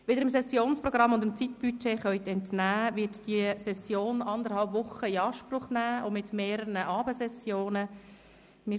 Wie Sie dem Sessionsprogramm und dem Zeitbudget entnehmen können, wird diese Session anderthalb Wochen in Anspruch nehmen und mehrere Abendsessionen enthalten.